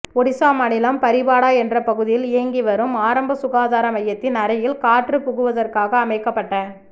ஒடிசா மாநிலம் பரிபாடா என்ற பகுதியில் இயங்கிவரும் ஆரம்ப சுகாதார மையத்தின் அறையில் காற்று புகுவதற்காக அமைக்கப்பட்ட